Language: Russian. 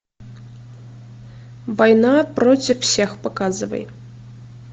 война против всех показывай